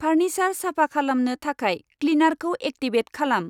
Furniture साफा खालामनो थाखाय क्लिनारखौ एक्टिभेट खालाम।